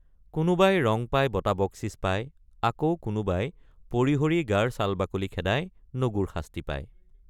কোনোবাই ৰং পাই বঁটাবকচিচ পায় আকৌ কোনোবাই পৰিহৰি গাৰ ছালবাকলি খেদাই নগুৰশাস্তি পায়।